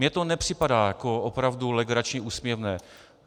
Mně to nepřipadá jako opravdu legrační, úsměvné.